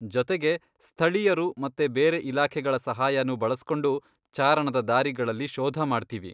ಜೊತೆಗೆ, ಸ್ಥಳೀಯರು ಮತ್ತೆ ಬೇರೆ ಇಲಾಖೆಗಳ ಸಹಾಯನೂ ಬಳಸ್ಕೊಂಡು ಚಾರಣದ ದಾರಿಗಳಲ್ಲಿ ಶೋಧ ಮಾಡ್ತೀವಿ.